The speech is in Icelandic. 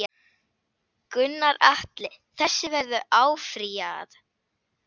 Gunnar Atli: Þessu verður áfrýjað?